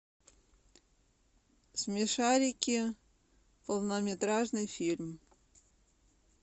смешарики полнометражный фильм